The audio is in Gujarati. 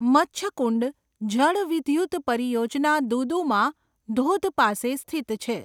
મચ્છકુંડ જળવિદ્યુત પરિયોજના દુદુમા ધોધ પાસે સ્થિત છે.